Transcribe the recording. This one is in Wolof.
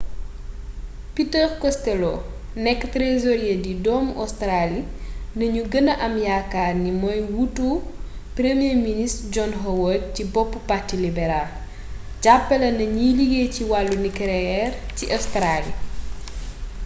peter costello nekk trésorier di doomu australie lañu gëna am yaakaar ni mooy wuutu premier ministre john howard ci boppu parti libéral jàppale na ñiy liggéey ci wàllu nucléaire ci australie